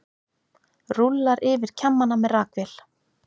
Rúllar yfir kjammana með rakvél.